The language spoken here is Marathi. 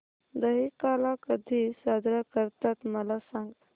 दहिकाला कधी साजरा करतात मला सांग